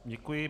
Děkuji.